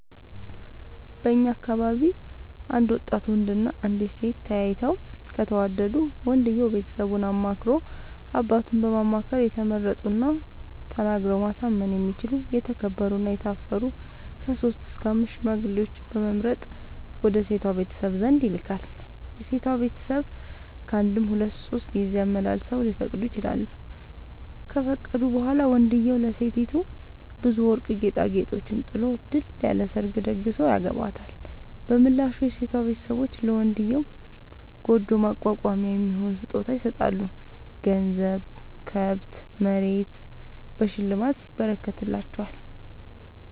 በእኛ አካባቢ አንድ ወጣት ወንድ እና አንዲት ሴት ተያይተው ከተወዳዱ ወንድየው ቤተሰቡን አማክሮ አባቱን በማማከር የተመረጡና ተናግረው ማሳመን የሚችሉ የተከበሩ እና የታፈሩ ከሶስት እስከ አምስት ሽማግሌዎችን በመምረጥ ወደ ሴቷ ቤተሰብ ዘንድ ይልካል። የሴቷ ቤተሰብ ካንድም ሁለት ሶስት ጊዜ አመላልሰው ሊፈቅዱ ይችላሉ። ከፈቀዱ በኋላ ወንድዬው ለሴቲቱ ብዙ ወርቅ ጌጣጌጦችን ጥሎ ድል ያለ ሰርግ ተደግሶ ያገባታል። በምላሹ የሴቷ ቤተሰቦች ለመንድዬው ጉጆ ማቋቋሚያ የሚሆን ስጦታ ይሰጣሉ ገንዘብ፣ ከብት፣ መሬት በሽልማት ይረከትላቸዋል።